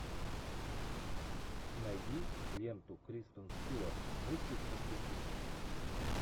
найди ленту кристен стюарт мыслить как преступник